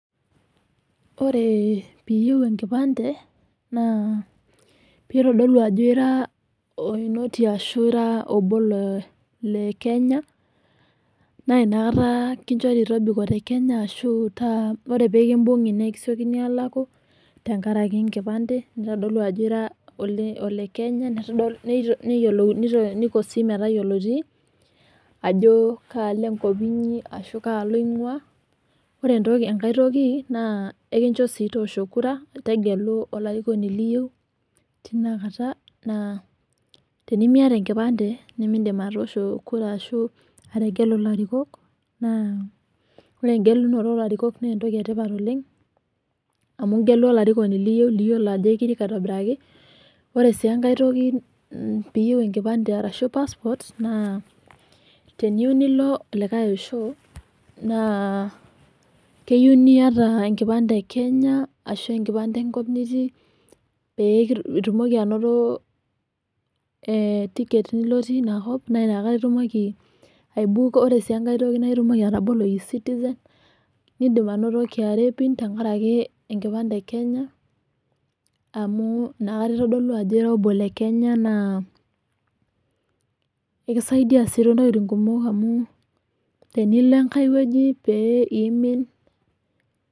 Ore piiyeu enkipande naa peitodolu ajo ira oinoti arashu ira obo le Kenya naa inakata kinchori tobiko te Kenya ashu taa ore piikimbung'i nikisiokini aalaku tengaraki enkipande naitodolu ajo iro olekenya, neitodolu nayiolouni metayoloti ajo kaa lengo pitii ashu kaji inguaa, oree ntoki engae toki naa ekincho sii toosho kura tegelu olarikoni liyeu, inakata naa tenimieta enkipande, nimindim atoosho kura ashu ategwlu ilarikok naa ore engelunoto oolarikok naa entoki etipat oleng, igelu ilarikoni liyeu liyolo ajo ikirik aitobiraki. Ore sii enkae toki piyeu enkipande arashu passport naa teniyeu nilo likae osho naa keyeu nieta enkipande ekenya ashu enkipande enkop nitii piitumoki anoto etiket nilotie inakop naa inakata itumoki aibuuko, ore sii enkae toki nindim atobolie ecitizen nindim anoto KRA PIN tengaraki enkipande ekenya qmu inakata eitodolu ajo obo le Kenya naa ekisaidia sii too ntokitin kumok amu tenilo enkae weji pee iimin.